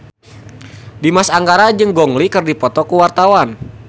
Dimas Anggara jeung Gong Li keur dipoto ku wartawan